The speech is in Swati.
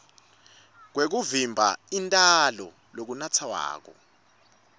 kwekuvimba intalo lokunatfwako